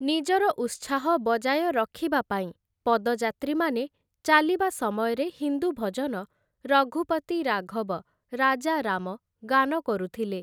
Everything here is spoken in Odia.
ନିଜର ଉତ୍ସାହ ବଜାୟ ରଖିବା ପାଇଁ ପଦଯାତ୍ରୀମାନେ ଚାଲିବା ସମୟରେ ହିନ୍ଦୁ ଭଜନ 'ରଘୁପତି ରାଘବ ରାଜା ରାମ' ଗାନ କରୁଥିଲେ ।